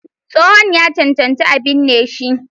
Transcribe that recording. Tsohon ya cancanci a binne shi.